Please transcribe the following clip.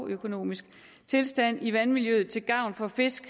økologisk tilstand i vandmiljøet til gavn for fisk